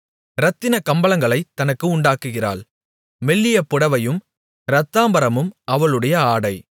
இரத்தினக் கம்பளங்களைத் தனக்கு உண்டாக்குகிறாள் மெல்லிய புடவையும் இரத்தாம்பரமும் அவளுடைய ஆடை